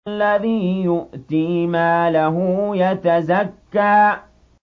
الَّذِي يُؤْتِي مَالَهُ يَتَزَكَّىٰ